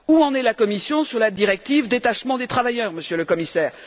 Où en est la Commission sur la directive détachement des travailleurs, Monsieur le Commissaire?